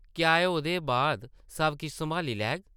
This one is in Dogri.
क्या एह् ओह्दे बाद सब किश सम्हाली लैग ?